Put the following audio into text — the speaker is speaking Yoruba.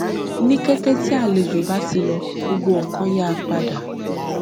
ní kété tí àlejò bá ti lọ gbogbo nkan yá padà